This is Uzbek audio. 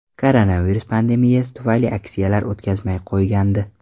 Koronavirus pandemiyasi tufayli aksiyalar o‘tkazmay qo‘ygandi.